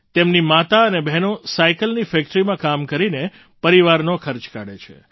તેમની માતા અને બહેનો સાઇકલની ફૅક્ટરીમાં કામ કરીને પરિવારનો ખર્ચ કાઢે છે